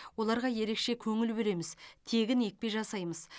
оларға ерекше көңіл бөлеміз тегін екпе жасаймыз